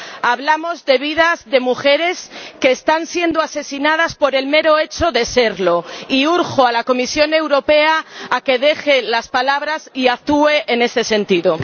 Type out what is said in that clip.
Hablamos de vidas de mujeres que están siendo asesinadas por el mero hecho de serlo y urjo a la Comisión Europea a que deje las palabras y actúe en este sentido.